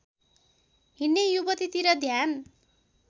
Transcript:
हिँड्ने युवतीतिर ध्यान